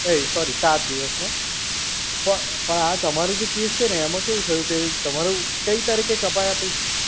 એ sorry સાત દિવસનો. પ પણ આ તમારો જે કેસ છે ને એમાં કેવું થયું કે તમારું કઈ તારીખે કપાયા પૈસા?